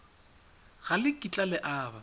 ga le kitla le aba